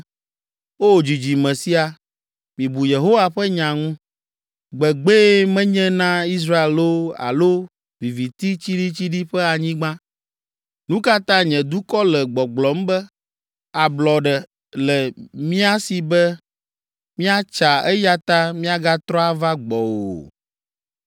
“O dzidzime sia, mibu Yehowa ƒe nya ŋu. “Gbegbee menye na Israel loo alo viviti tsiɖitsiɖi ƒe anyigba? Nu ka ta nye dukɔ le gbɔgblɔm be, ‘Ablɔɖe le mía si be míatsa eya ta miagatrɔ ava gbɔwò o?’